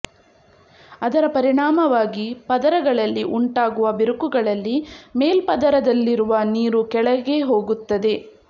ಅದರ ಪರಿಣಾಮವಾಗಿ ಪದರಗಳಲ್ಲಿ ಉಂಟಾಗುವ ಬಿರುಕುಗಳಲ್ಲಿ ಮೇಲ್ಪದರದಲ್ಲಿರುವ ನೀರು ಕೆಳಗೆ ಹೋಗುತ್ತದೆ